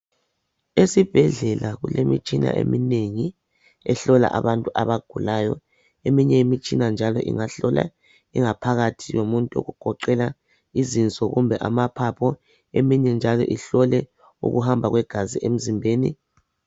Esibhedlela kulemitshina eminengi ehlola abantu abagulayo eminye imitshina njalo ingahlola ingaphakathi yomuntu okugoqela izinso kumbe amaphapho eminye njalo ihlole ukuhamba kwegazi emzimbeni